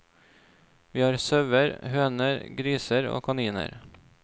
Vi har sauer, høner, griser og kaniner.